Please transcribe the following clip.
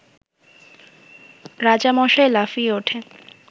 রাজামশাই লাফিয়ে উঠে